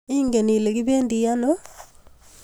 Ingen Ile kibendi ano?